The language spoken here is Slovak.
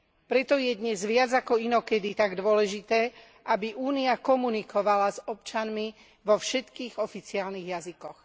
Preto je dnes viac ako inokedy tak dôležité, aby Únia komunikovala s občanmi vo všetkých oficiálnych jazykoch.